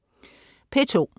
P2: